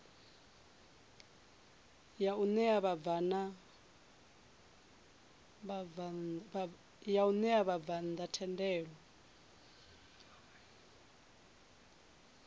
ya ṋea vhabvann ḓa thendelo